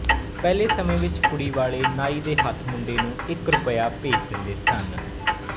ਪਹਿਲੇਂਂ ਸਮੇਂ ਵਿੱਚ ਕੁੜੀ ਵਾਲੇ ਨਾਈ ਦੇ ਹੱਥ ਮੁੰਡੇ ਨੂੰ ਇੱਕ ਰੁਪਇਆ ਭੇਜ ਦਿੰਦੇ ਸਨ